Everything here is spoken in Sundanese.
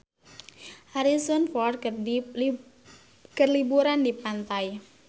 Harrison Ford keur liburan di pantai